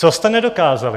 Co jste nedokázali?